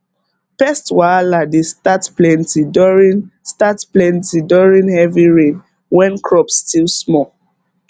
pest wahala dey start plenty during start plenty during heavy rain when crops still small